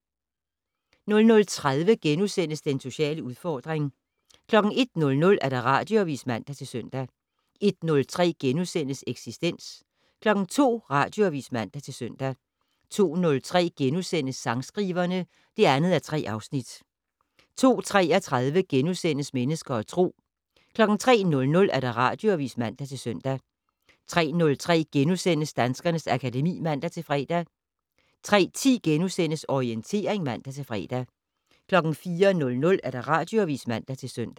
00:30: Den sociale udfordring * 01:00: Radioavis (man-søn) 01:03: Eksistens * 02:00: Radioavis (man-søn) 02:03: Sangskriverne (2:3)* 02:33: Mennesker og Tro * 03:00: Radioavis (man-søn) 03:03: Danskernes akademi *(man-fre) 03:10: Orientering *(man-fre) 04:00: Radioavis (man-søn)